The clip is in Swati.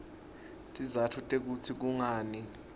tizatfu tekutsi kungani